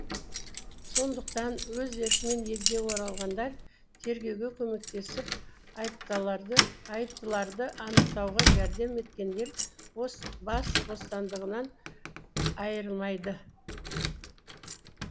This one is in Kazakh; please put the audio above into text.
сондықтан өз еркімен елге оралғандар тергеуге көмектесіп айыптыларды анықтауға жәрдем еткендер бас бостандығынан айырылмайды